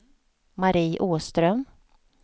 Marie Åström